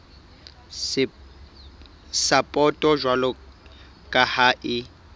sapoto jwalo ka ha e